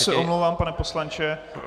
Já se omlouvám, pane poslanče.